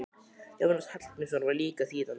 Jónas Hallgrímsson var líka þýðandi.